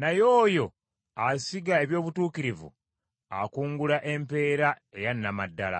naye oyo asiga eby’obutuukirivu akungula empeera eya nnama ddala.